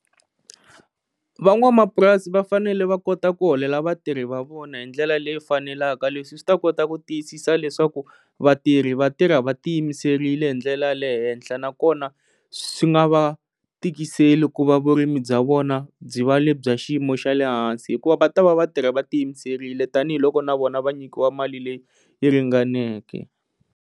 Van'wamapurasi va fanele va kota ku holela vatirhi va vona hi ndlela leyi faneleke leswi swi ta kota ku tiyisisa leswaku vatirhi vatirha va ti yimiserile hi ndlela ya le henhla na kona swi nga va tikiseli ku va vurimi bya vona byi va le bya xiyimo xa lehansi hikuva va ta va va tirha va ti yimiserile tanihiloko na vona va nyikiwa mali leyi yi ringaneke.